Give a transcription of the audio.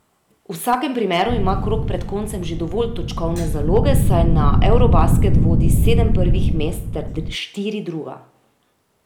V vsakem primeru ima krog pred koncem že dovolj točkovne zaloge, saj na eurobasket vodi sedem prvih mest ter štiri druga.